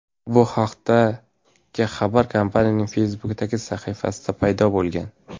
Bu haqdagi xabar kompaniyaning Facebook’dagi sahifasida paydo bo‘lgan.